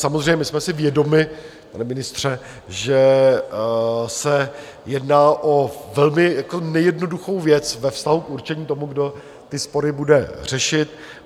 Samozřejmě, my jsme si vědomi, pane ministře, že se jedná o velmi nejednoduchou věc ve vztahu k určení toho, kdo ty spory bude řešit.